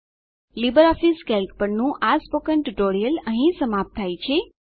LibreOffice Calc પરનું આ spoken tutorial અહીં સમાપ્ત થાય છે